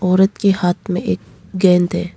औरत के हाथ में एक गेंद है।